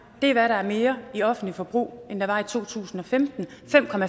er hvad der er mere i offentligt forbrug end der var i to tusind og femten